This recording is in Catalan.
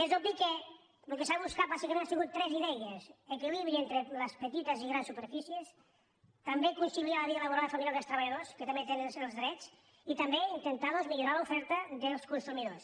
és obvi que el que s’ha buscat bàsicament han sigut tres idees equilibri entre les petites i grans superfícies també conciliar la vida laboral i familiar dels treballadors que també tenen els drets i també intentar doncs millorar l’oferta dels consumidors